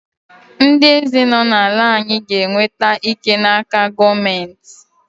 Ndị eze nọ n’obodo anyị ga-enweta ike n’aka gọọmentị.